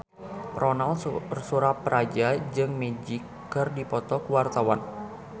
Ronal Surapradja jeung Magic keur dipoto ku wartawan